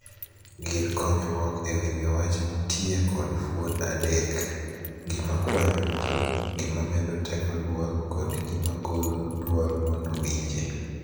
Gir konyruok e winjo wach nitie kod fuon adek: gima kwanyo duol, gima medo teko duol, kod gima golo duol mondo winje.